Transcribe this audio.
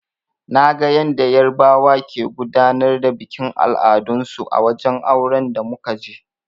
Naga yanda yarbawa ke gudanar da bikin al'adun su a wajen auren da muka je.